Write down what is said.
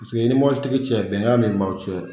Pisike i ni mɔbili tigi cɛ bɛngan ne b'aw cɛ.